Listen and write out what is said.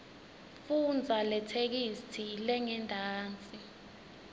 fundza letheksthi lengentasi